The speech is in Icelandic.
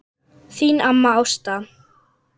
Þín amma Ásta.